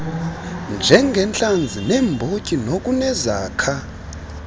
njengentlanzi neembotyi nokunezakha